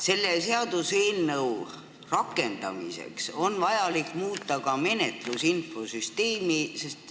Selle seaduseelnõu rakendamiseks on vaja muuta ka menetlusinfosüsteemi.